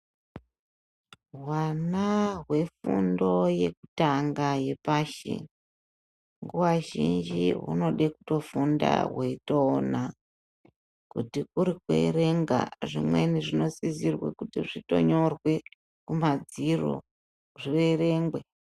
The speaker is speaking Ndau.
Hwana hwefundo yekutanga yepashi, nguva zhinji hunode kutofunda hweitoona. Kuti kuri kuerenga zvimweni zvinosise kutonyorwa kumadziro , zvierengwe.